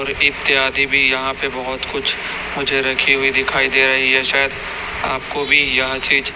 और इत्यादि भी यहां पे बहोत कुछ मुझे रखी हुई दिखाई दे रही है शायद आपको भी यह चीज--